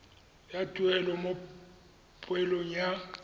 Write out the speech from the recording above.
sa tuelo mo poelong ya